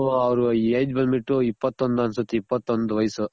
ಇನ್ನು ಅವ್ರ್ age ಬಂದ್ ಬಿಟ್ಟು ಇಪ್ಪತೊಂದ್ ಅನ್ಸುತ್ತೆ ಇಪ್ಪತೊಂದು ವಯ್ಸು